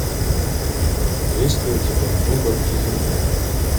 есть ли у тебя небо и земля